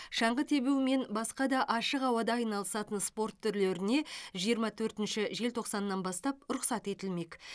шаңғы тебу мен басқа да ашық ауада айналысатын спорт түрлеріне жиырма төртінші желтоқсаннан бастап рұқсат етілмек